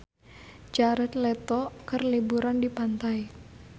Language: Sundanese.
Jared Leto keur liburan di pantai